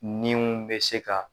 Niw bɛ se ka